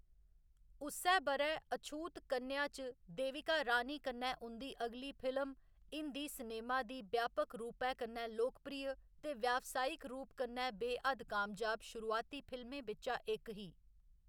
उस्सै ब'रै अछूत कन्या च देविका रानी कन्नै उं'दी अगली फिल्म हिंदी सिनेमा दी व्यापक रूपै कन्नै लोकप्रिय ते व्यावसायिक रूप कन्नै बे हद्द कामयाब शुरुआती फिल्में बिच्चा इक ही।